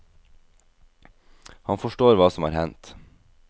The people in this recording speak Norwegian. Han forstår hva som er hendt.